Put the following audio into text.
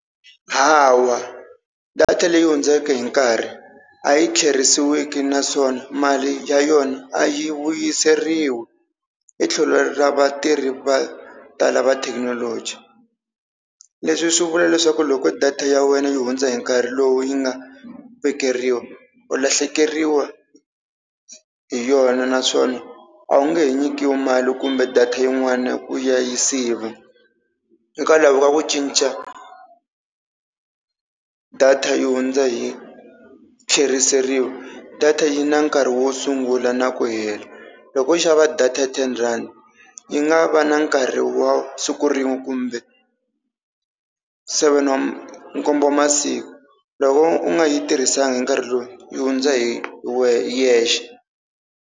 Hawa data leyi hundzeke hi nkarhi a yi tlherisiweki naswona mali ya yona a yi vuyiseriwi i tlhelo ra vatirhi vo tala va thekinoloji. Leswi swi vula leswaku loko data ya wena yi hundza hi nkarhi lowu yi nga vekeriwa u lahlekeriwa hi yona naswona a wu nge he nyikiwi mali kumbe data yin'wana ku ya yi siva. Hikwalaho ka ku cinca data yi hundza hi tlheriseriwa data yi na nkarhi wo sungula na ku hela loko wo xava data ya ten-rand yi nga va na nkarhi wa siku rin'we kumbe seven wa nkombo masiku loko u nga yi tirhisanga hi nkarhi lowu yi hundza hi yexe.